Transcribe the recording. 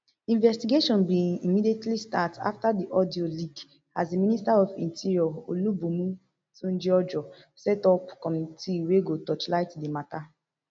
investigation bin immediately start afta di audio leak as di minister of interior olubunmi tunjiojo set up committee wey go torchlight di mata